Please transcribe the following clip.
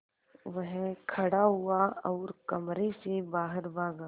वह खड़ा हुआ और कमरे से बाहर भागा